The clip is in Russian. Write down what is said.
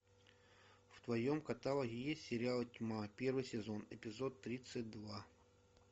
в твоем каталоге есть сериал тьма первый сезон эпизод тридцать два